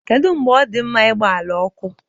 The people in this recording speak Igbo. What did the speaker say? Kedu mgbe ọ dị mma igba ala ọkụ?